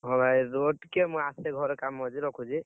ହଁ ଭାଇ ରୁହ ଟିକେ ମୁଁ ଆସେ ଘରେ କାମ ଅଛି ରଖୁଛି।